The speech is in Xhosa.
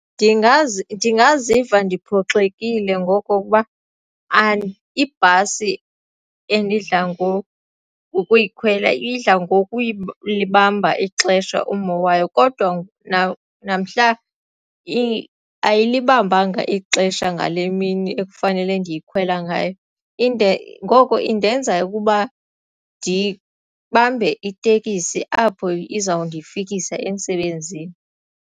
ndingaziva ndiphoxekile ngokokuba ibhasi endidla ngokuyikhwela idla ngokulibamba ixesha ummo wayo kodwa namhla ayilibambanga ixesha ngale mini ekufanele ndiyikhwela ngayo ngoko indenza ukuba ndibambe iteksi apho izawundifikisa emsebenzini.